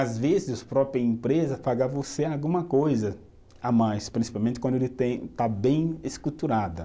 Às vezes, a própria empresa paga você alguma coisa a mais, principalmente quando ele tem, está bem